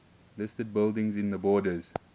listed buildings in the borders